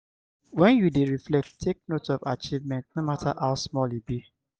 when you dey reflect take note of achievements no matter how small e be